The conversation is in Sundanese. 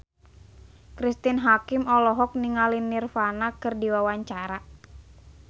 Cristine Hakim olohok ningali Nirvana keur diwawancara